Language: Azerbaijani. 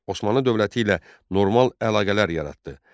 Osmanlı dövləti ilə normal əlaqələr yaratdı.